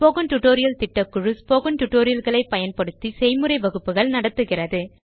spoken tutorial திட்ட குழு spoken Tutorial களை பயன்படுத்தி செய்முறை வகுப்புகள் நடத்துகிறது